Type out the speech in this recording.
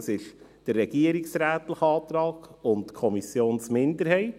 Das ist der Antrag des Regierungsrates und der Kommissionsminderheit.